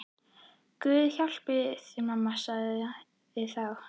Guð hjálpi þér mamma, sagði þá